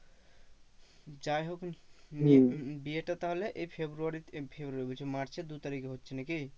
যাই হোক বিয়েটা তাহলে এই february তে february বলছি march এর দু তারিখে হচ্ছে নাকি?